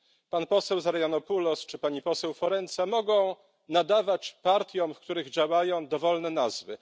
Pan poseł Zarianopoulos czy pani poseł Forenza mogą nadawać partiom, w których działają, dowolne nazwy.